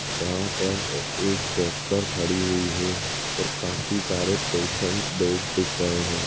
यहाँ पर एक डॉक्टर खड़ी हुई है और काफी सारे पैशन्ट बेड दिख रहे है।